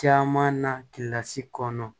Caman na kilasi kɔnɔ